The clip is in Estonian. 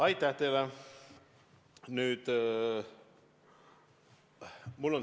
Aitäh teile!